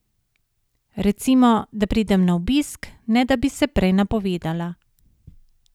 Recimo, da pridem na obisk, ne da bi se prej napovedala.